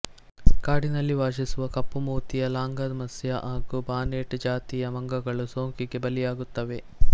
ಕಾಡಿನಲ್ಲಿ ವಾಸಿಸುವ ಕಪ್ಪು ಮೂತಿಯ ಲಾಂಗರ್ ಮುಸ್ಯ ಹಾಗೂ ಬಾನೆಟ್ ಜಾತಿಯ ಮಂಗಗಳು ಸೋಂಕಿಗೆ ಬಲಿಯಾಗುತ್ತವೆ